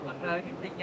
Qəncəliyəm.